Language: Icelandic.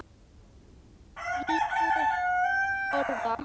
Litur orða